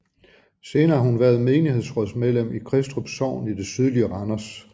Senere har hun været menighedsrådsmedlem i Kristrup Sogn i det sydlige Randers